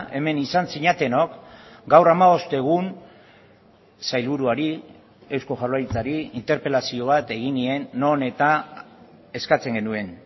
hemen izan zinatenok gaur hamabost egun sailburuari eusko jaurlaritzari interpelazio bat egin nien non eta eskatzen genuen